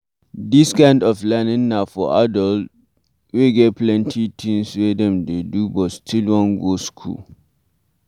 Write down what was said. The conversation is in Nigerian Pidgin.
This kind of learning na for adult wey get plenty things wey dem dey do but still wan go school